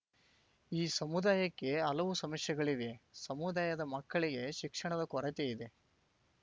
ಈ ಸಮುದಾಯಕ್ಕೆ ಹಲವು ಸಮಸ್ಯೆಗಳಿವೆ ಸಮುದಾಯದ ಮಕ್ಕಳಿಗೆ ಶಿಕ್ಷಣದ ಕೊರತೆ ಇದೆ